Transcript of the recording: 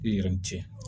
I yɛrɛ cɛna